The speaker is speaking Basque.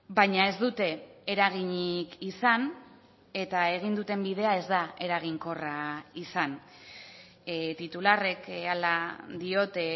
baina ez dute eraginik izan eta egin duten bidea ez da eraginkorra izan titularrek hala diote